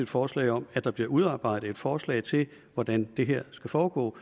forslag om at der bliver udarbejdet et forslag til hvordan det her skal foregå